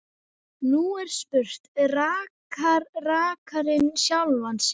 Nú er spurt: Rakar rakarinn sjálfan sig?